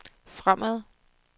fremad